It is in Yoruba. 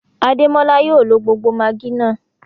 Adémọlá yóò ló gbogbo maggi náà.